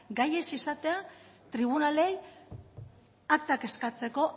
gai ez izatea tribunalei aktak eskatzeko